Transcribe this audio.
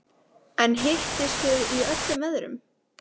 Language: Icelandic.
En hittist þið í öllum veðrum?